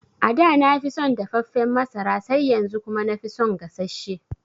Ada nafi son dafaffen masara sai yanzu kuma nafi son gasasshe